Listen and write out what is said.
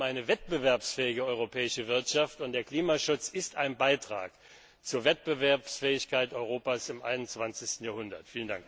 Es geht um eine wettbewerbsfähige europäische Wirtschaft, und der Klimaschutz ist ein Beitrag zur Wettbewerbsfähigkeit Europas im 21. Jahrhundert.